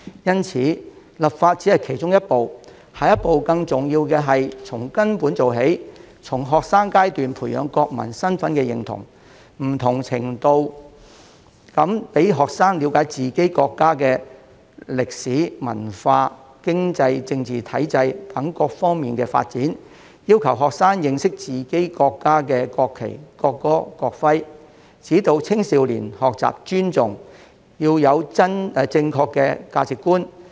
因此，立法只是其中一步，更重要的下一步是要從根本做起，從學生階段培養國民身份認同，在不同程度上讓學生了解自己國家的歷史、文化、經濟、政治體制等各方面的發展，要求學生認識自己國家的國旗、國歌及國徽，指導青少年學習尊重和建立正確的價值觀。